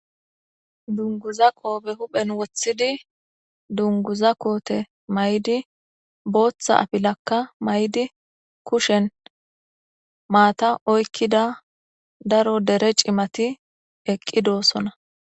Gaamo dungguza qobe huphen wothid mayo mayida asati ba kushen maata oykidi daro dere cimati eqidosona